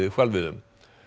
hvalveiðum